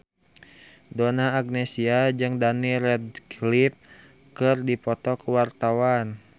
Donna Agnesia jeung Daniel Radcliffe keur dipoto ku wartawan